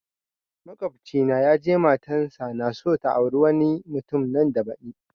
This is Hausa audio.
Makwabci na ya je matan sa naso ta aure wani mutum nan da badi